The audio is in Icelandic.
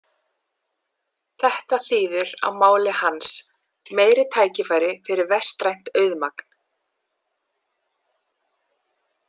Þetta þýðir á máli hans: Meiri tækifæri fyrir vestrænt auðmagn.